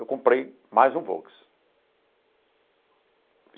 Eu comprei mais um Volks.